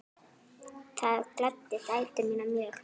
Það gladdi dætur mínar mjög.